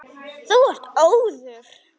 Þú ert óður!